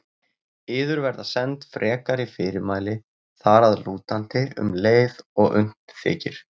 Yður verða send frekari fyrirmæli þar að lútandi um leið og unnt þykir.